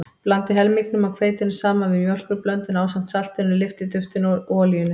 Blandið helmingnum af hveitinu saman við mjólkurblönduna ásamt saltinu, lyftiduftinu og olíunni.